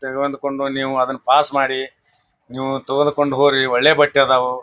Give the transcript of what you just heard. ಅಂದುಕೊಂಡು ನೀವ್ ಅದನ್ನ ಪಾಸ್ ಮಾಡಿ ನೀವು ತೊಗೊದಕೊಂಡು ಹೋಗಿ ಒಳ್ಳೆ ಬಟ್ಟೆ ಅದಾವು.